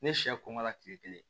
Ne sɛ kɔngɔla kile kelen